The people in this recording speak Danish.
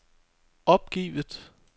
opgivet